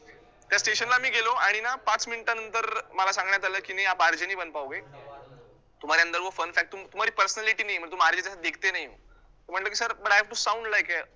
त्या station ला मी गेलो आणि ना पाच minutes नंतर मला सांगण्यात आलं की RJ fun factorpersonalityRJ म्हंटलं मी sir but i am to sound like a